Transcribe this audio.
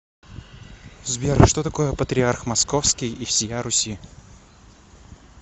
сбер что такое патриарх московский и всея руси